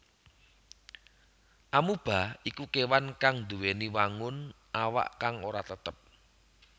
Amoeba iku kéwan kang nduwèni wangun awak kang ora tetep